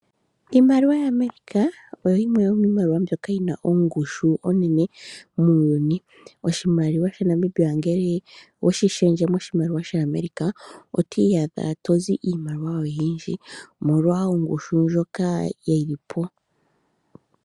Iimaliwa ya America oyo yimwe yomiimaliwa mbyoka yina ongushu onene muuyuni , oshimaliwa sha Namibia ngele oweshi shendje moshimaliwa shaAmerica oto iyadha tozi iimaliwa oshindji omolwa ongushu ndjoka yilipo